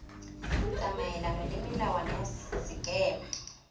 tsamaelana le melawana ya sekema